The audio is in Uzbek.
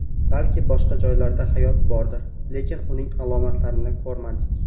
Balki boshqa joylarda hayot bordir, lekin uning alomatlarini ko‘rmadik.